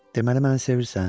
Deməli məni sevirsən?